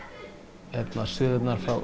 sögur frá